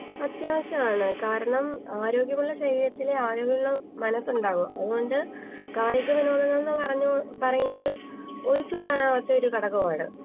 അത്യാവിശ്യാണ് കാണാം ആരോഗ്യമുള്ള ശരീരത്തിലെ ആരോഗ്യമുള്ള മനസ്ണ്ടാകാ അത് കൊണ്ട്‌ കായിക വിനോതങ്ങൾ പറഞ്ഞ് പറയുന്നത് ഒഴിച്ച് കൂടാനാവാത്ത ഒരു ഘടകമാണ്